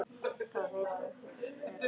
Það vita feður aldrei.